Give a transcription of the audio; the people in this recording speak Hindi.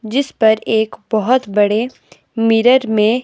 जिस पर एक बहुत बड़े मिरर में--